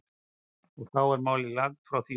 Og þó er málið langt frá því útrætt.